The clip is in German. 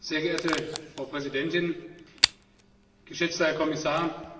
Sehr geehrte Frau Präsidentin, geschätzter Herr Kommissar!